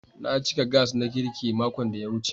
Na cika Gas na girki makon da ya wuce.